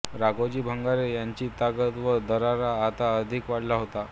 राघोजी भांगरे यांची ताकद व दरारा आता अधिक वाढला होता